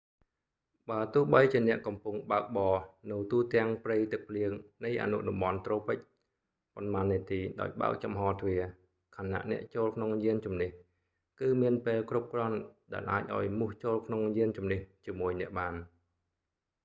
បើទោះបីជាអ្នកកំពុងបើកបរនៅទូទាំងព្រៃទឹកភ្លៀងនៃអនុតំបន់ត្រូពិច ប៉ុន្មាននាទីដោយបើកចំហទ្វារ ខណៈអ្នកចូលក្នុងយានជំនិះ គឺមានពេលគ្រប់គ្រាន់ដែលអាចឲ្យមូសចូលក្នុងយានជំនិះជាមួយអ្នកបាន